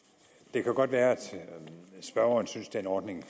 det kan godt være at spørgeren synes den ordning